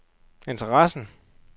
interessen